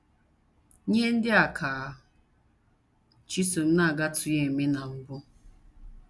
Ihe ndị a ka Chisom na - agatụghị eme na mbụ!